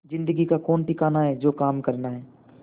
जिंदगी का कौन ठिकाना है जो काम करना है